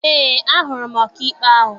Eé, ahụrụ m ọkaikpe ahụ.